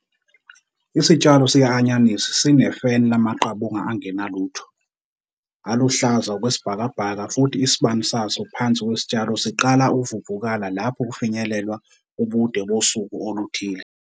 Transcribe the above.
Isitshalo sika-anyanisi sinefeni lamaqabunga angenalutho, aluhlaza okwesibhakabhaka futhi isibani saso phansi kwesitshalo siqala ukuvuvukala lapho kufinyelelwa ubude bosuku oluthile.